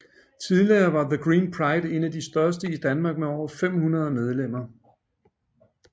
Tidligere var The Green Pride en af de største i Danmark med over 500 medlemmer